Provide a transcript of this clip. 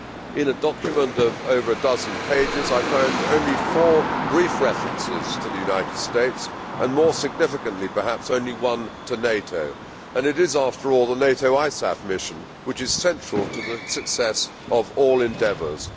In a document of over a dozen pages, I found only four brief references to the United States and, more significantly perhaps, only one to NATO, and it is after all the NATO ISAF mission which is central to the success of all endeavours.